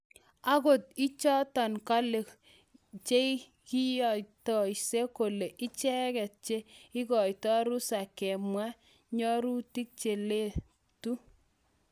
ogot inchoton kale cheiyaktoisie kole ichegeet che igaito rusa kemwa nyorutig cheletu